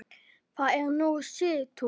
Þar er nú Sigtún.